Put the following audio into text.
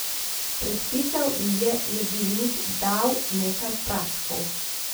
Predpisal ji je jedilnik, dal nekaj praškov.